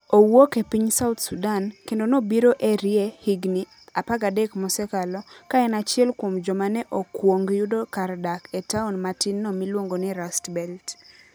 Owuok e piny South Sudan, kendo nobiro Erie higini 13 mosekalo ka en achiel kuom joma ne okwong yudo kar dak e taon matinno miluongo ni Rust Belt.